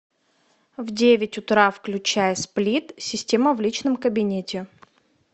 в девять утра включай сплит система в личном кабинете